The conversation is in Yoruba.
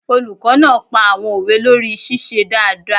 Olùkọ́ náà pa àwọn òwe lórí ṣíṣe dáadáa